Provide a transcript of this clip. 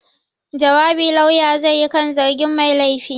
Jawabi Lauya zai yi kan zargin mai laifi.